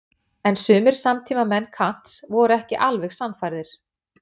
en sumir samtímamenn kants voru ekki alveg sannfærðir